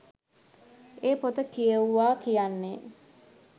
ඒ පොත කියෙව්වා කියන්නේ